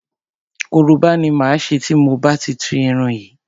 Koroba ni máa ṣe tí mo bá ti tú irun yìí.